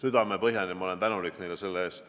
Ma olen neile selle eest südamepõhjani tänulik.